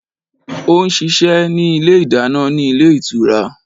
Ó n ṣiṣẹ́ ní Ilé ìdáná ní Ilé Ìtura